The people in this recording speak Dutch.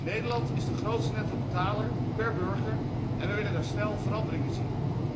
Nederland is de grootste nettobetaler per burger en we willen daar snel verandering in zien.